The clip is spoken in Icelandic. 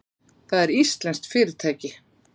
Það er íslenskt fyrirtæki.